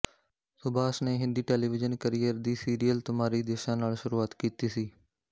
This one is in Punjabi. ਸੁਭਾਸ਼ ਨੇ ਹਿੰਦੀ ਟੈਲੀਵਿਜ਼ਨ ਕਰੀਅਰ ਦੀ ਸੀਰੀਅਲ ਤੁਮਾਰੀ ਦਿਸ਼ਾ ਨਾਲ ਸ਼ੁਰੂਆਤ ਕੀਤੀ ਸੀ